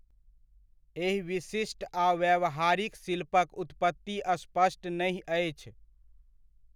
एहि विशिष्ट आ व्यावहारिक शिल्पक उत्पत्ति स्पष्ट नहि अछि।